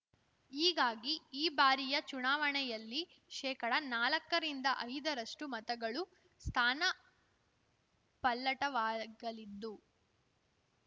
ಹೀಗಾಗಿ ಈ ಬಾರಿಯ ಚುನಾವಣೆಯಲ್ಲಿ ಶೇಕಡಾನಾಲಕ್ಕ ರಿಂದ ಐದರಷ್ಟು ಮತಗಳು ಸ್ಥಾನ ಪಲ್ಲಟವಾಗಲಿದ್ದು